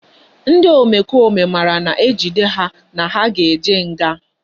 Ndi omekome mara na ejide ha na ha ga eje nga